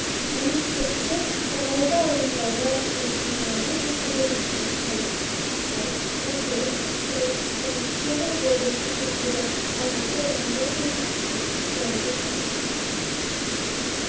мәліметтерінше қырғауылды аулындағы келесідей саяжай учаскелерін су басып қалды ақсай торпедо труд полет сондай-ақ облыстық мәндегі алматы-жандосова трассасынң км-ін су басты